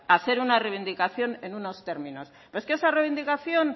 hacer una reivindicación en unos términos pero es que esa reivindicación